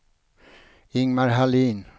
Ingemar Hallin